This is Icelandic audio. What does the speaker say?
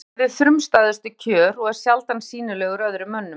Hann lifir við frumstæðustu kjör og er sjaldan sýnilegur öðrum mönnum.